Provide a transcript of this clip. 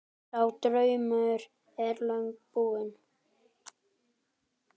Sá draumur er löngu búinn.